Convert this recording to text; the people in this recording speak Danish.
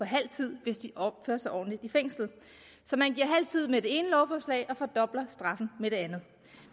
halv tid hvis de opfører sig ordentligt i fængslet så man giver halv tid med det ene lovforslag og fordobler straffen med det andet